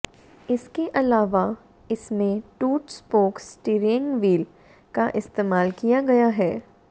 इसके अलावा इसमें टू स्पोक स्टियरिंग व्हील का इस्तेमाल किया गया है